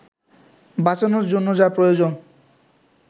বাঁচানোর জন্য যা প্রয়োজন